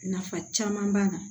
Nafa caman b'a la